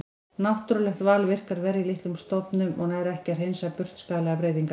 Náttúrulegt val virkar verr í litlum stofnum og nær ekki að hreinsa burt skaðlegar breytingar.